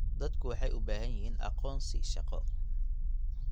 Dadku waxay u baahan yihiin aqoonsi shaqo.